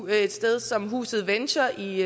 et sted som huset venture i